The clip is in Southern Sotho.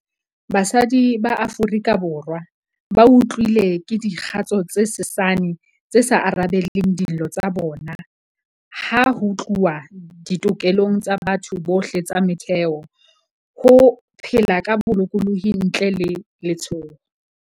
Basadi ba Aforika Borwa bautlwile ke dikgato tse sesane tse sa arabeleng dillo tsa bona ha ho tluwa ditokelong tsa batho bohle tsa motheo - ho phela ka bolokolohi ntle le letshoho.